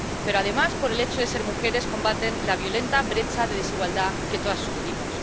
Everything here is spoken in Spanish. Pero, además, por el hecho de ser mujeres, combaten la violenta brecha de desigualdad que todas sufrimos.